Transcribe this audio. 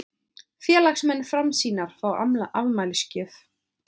Félagsmenn Framsýnar fá afmælisgjöf